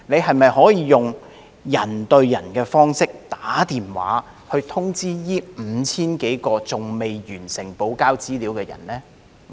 可否採用"人對人"的方式致電通知這5000多名尚未完成補交資料的人呢？